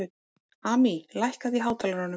Amý, lækkaðu í hátalaranum.